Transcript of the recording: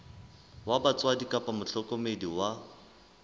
wa batswadi kapa mohlokomedi wa